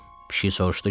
Pişik soruşdu ki: